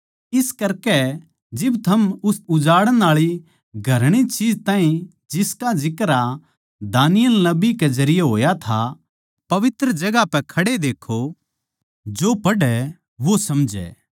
इस करकै जिब थम उस उजाड़ण आळी घृणित चीज ताहीं जिसका जिक्रा दानिय्येल नबी कै जरिये होया था पवित्र जगहां पै खड़े देक्खो जो पढ़ै वो समझै